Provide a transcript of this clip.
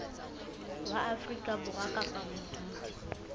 wa afrika borwa kapa modudi